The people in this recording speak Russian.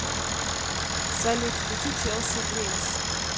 салют включи челси гримс